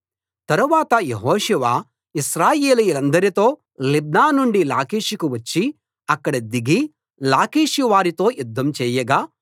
తరువాత యెహోషువ ఇశ్రాయేలీయులందరితో లిబ్నా నుండి లాకీషుకు వచ్చి అక్కడ దిగి లాకీషు వారితో యుద్దం చేయగా